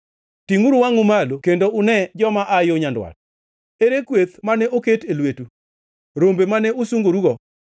Tingʼuru wangʼu malo kendo une joma aa yo nyandwat. Ere kweth mane oket e lwetu, rombe mane usungorugo?